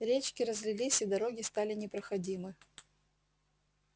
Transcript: речки разлились и дороги стали непроходимы